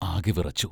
ആകെ വിറച്ചു.